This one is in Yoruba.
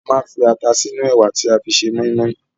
A máa ń fi ata sínú ẹ̀wà tí a fẹ́ fi ṣe mọ́ínmọ́ín